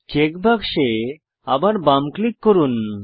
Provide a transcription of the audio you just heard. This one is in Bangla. চেক বাক্সে আবার বাম ক্লিক করুন